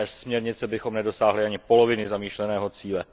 Bez směrnice bychom nedosáhli ani poloviny zamýšleného cíle.